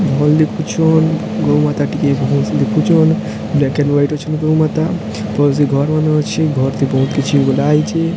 ଭଲ ଦେଖୁଛନ ଗୋମାତା ଟିକେ ଭଲ ସେ ଦେଖୁଛ ନ ବ୍ଲାକ ଆଣ୍ଡ ୱାଇଟ ଅଛନ୍ତି ଗୋମାତା ପଛରେ ଘର ମାନେ ଅଛି ଘର ତେ ବହୁତ କିଛି ଗୁରା ହେଇଚି।